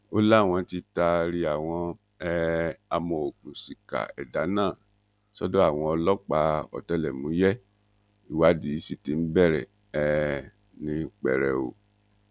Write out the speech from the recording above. ó láwọn tí taari àwọn um amòòkùnṣìkà ẹdà náà sọdọ àwọn ọlọpàá ọtẹlẹmúyẹ ìwádìí sì ti bẹrẹ um ní pẹrẹu